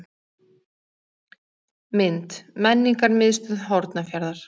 Mynd: Menningarmiðstöð Hornafjarðar.